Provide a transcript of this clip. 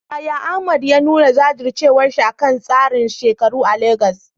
Yaya Ahmad ya nuna jajircewarsa akan tsarin shekaru a Legas?